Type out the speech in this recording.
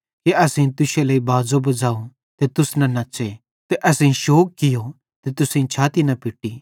कि असेईं तुश्शे लेइ बाज़ो बज़ाव ते तुस न नच़्च़े ते असेईं शौग कियो ते तुसेईं छाती न पिट्टी